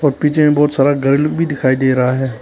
पीछे बहुत सारा गर्ल भी दिखाई दे रहा है।